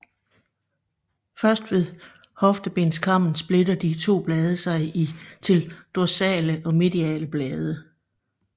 Først ved hoftebenskammen splitter de to blade sig til dorsale og mediale blade